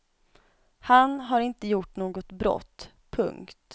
Han har inte gjort något brott. punkt